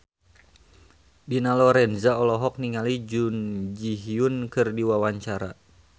Dina Lorenza olohok ningali Jun Ji Hyun keur diwawancara